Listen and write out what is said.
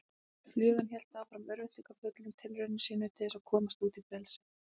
Flugan hélt áfram örvæntingarfullum tilraunum sínum til að komast út í frelsið.